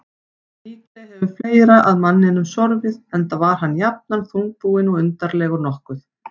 En líklega hefur fleira að manninum sorfið, enda var hann jafnan þungbúinn og undarlegur nokkuð.